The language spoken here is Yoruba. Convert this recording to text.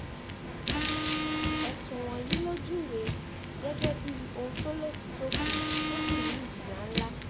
ẹ̀sùn wọ̀nyí ló júwe gẹ́gẹ́ bíi ohun tó lòdì sófin tó sì ní ìjìyà ńlá